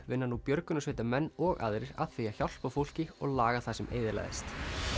vinna nú björgunarsveitarmenn og aðrir að því að hjálpa fólki og laga það sem eyðilagðist